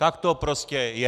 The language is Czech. Tak to prostě je!